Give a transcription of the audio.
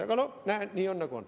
Aga näe, nii on, nagu on.